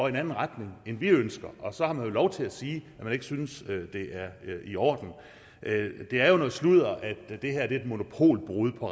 en anden retning end vi ønsker og så har man jo lov til at sige at man ikke synes det er i orden det er noget sludder at det her er et monopolbrud på